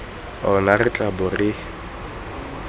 ona re tla bong re